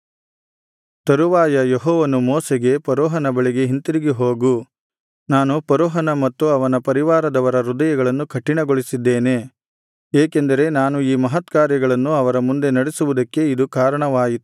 ತರುವಾಯ ಯೆಹೋವನು ಮೋಶೆಗೆ ಫರೋಹನ ಬಳಿಗೆ ಹಿಂತಿರುಗಿ ಹೋಗು ನಾನು ಫರೋಹನ ಮತ್ತು ಅವನ ಪರಿವಾರದವರ ಹೃದಯಗಳನ್ನು ಕಠಿಣಗೊಳಿಸಿದ್ದೇನೆ ಏಕೆಂದರೆ ನಾನು ಈ ಮಹತ್ಕಾರ್ಯಗಳನ್ನು ಅವರ ಮುಂದೆ ನಡೆಸುವುದಕ್ಕೆ ಇದು ಕಾರಣವಾಯಿತು